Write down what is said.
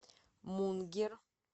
мунгер